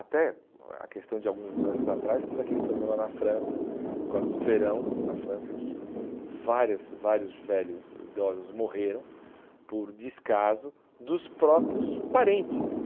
Até a questão de alguns anos atrás, teve aquele problema na França, por causa do verão na França, que várias vários velhos e idosos morreram por descaso dos próprios parentes.